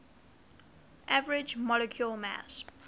average molecular mass